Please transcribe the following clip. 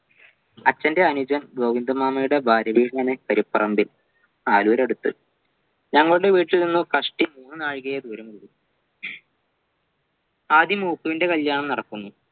അച്ഛൻ്റെ അനുജൻ ഗോവിന്ദമാമയുടെ ഭാര്യവീടാണ് കരുപ്പറമ്പിൽ ആലൂരടുത്ത് ഞങ്ങളുടെ വീട്ടിൽ നിന്നും കഷ്ടിച്ച് മൂന്നാഴികയെ ദൂരമുള്ളു ആദ്യം ഓപ്പുവിൻ്റെ കല്യാണം നടക്കുന്നു